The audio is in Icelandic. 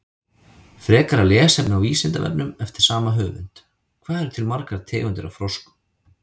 Frekara lesefni á Vísindavefnum eftir sama höfund: Hvað eru til margar tegundir af froskum?